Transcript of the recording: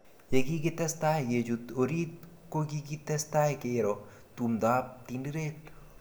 Ye kikitestai kechut orit ko kikitestai kero tumdo ab Tinderet